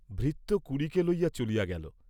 ভৃত্য কুলিকে লইয়া চলিয়া গেল।